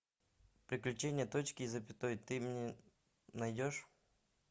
приключения точки и запятой ты мне найдешь